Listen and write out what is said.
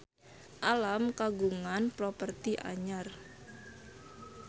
Alam kagungan properti anyar